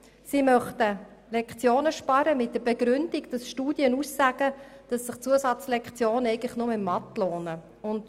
Sie begründen dies damit, dass Studien aussagen würden, dass sich Zusatzlektionen nur in Mathematik lohnen würden.